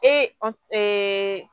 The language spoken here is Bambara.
Ee